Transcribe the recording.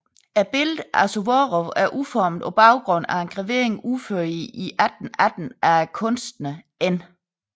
Billedet af Suvorov er udformet på baggrund af en gravering udført i 1818 af kunstneren N